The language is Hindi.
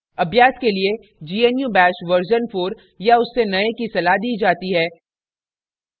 अभ्यास के लिए gnu bash version 4 या उससे नए की सलाह दी जाती है